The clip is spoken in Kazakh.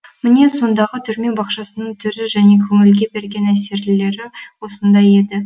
міне сондағы түрме бақшасының түрі және көңілге берген әсерлері осындай еді